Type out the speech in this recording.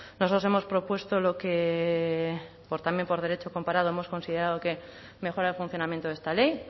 nosotros hemos propuesto lo que también por derecho comparado hemos considerado que mejora el funcionamiento de esta ley